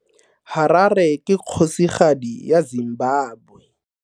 Harare ke kgosigadi ya Zimbabwe.